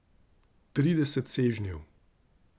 Trideset sežnjev.